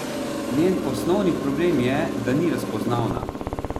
Njen osnovni problem je, da ni razpoznavna.